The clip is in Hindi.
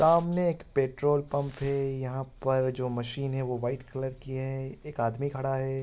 सामने एक पेट्रोल पंप है यहाँ पर जो मशीन है जो वाइट कलर की है एक आदमी खड़ा है।